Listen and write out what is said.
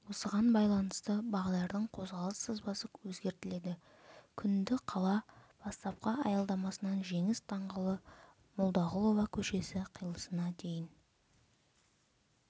осыған байланысты бағдардың қозғалыс сызбасы өзгертіледі күнді қала бастапқы аялдамасынан жеңіс даңғылы молдағұлова көшесі қиылысына дейін